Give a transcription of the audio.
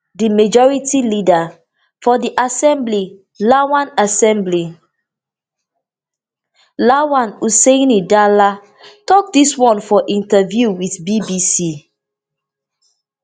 di majority leader for di assembly lawan assembly lawan hussaini dala tok dis one for interview wit bbc